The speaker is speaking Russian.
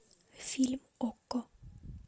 фильм окко